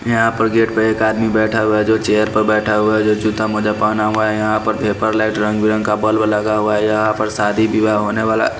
यहां पर गेट पर एक आदमी बैठा हुआ है जो चेयर पर बैठा हुआ है जो जूता मोजा पहना हुआ है यहां पर पेपर लेट रंग का बल्ब लगा हुआ है यहां पर शादी विवाह होने वाला है।